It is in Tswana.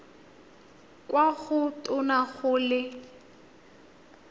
kwa go tona go le